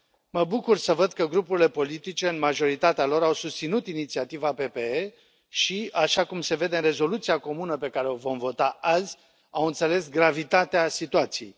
Mă bucur să văd că grupurile politice, în majoritatea lor, au susținut inițiativa PPE și, așa cum se vede în rezoluția comună pe care o vom vota azi, au înțeles gravitatea situației.